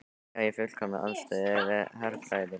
Já í fullkominni andstöðu við herfræði mína.